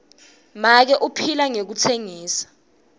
make uphila ngekutsengisa